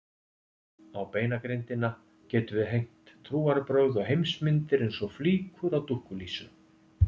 Á beinagrindina getum við hengt trúarbrögð og heimsmyndir eins og flíkur á dúkkulísu.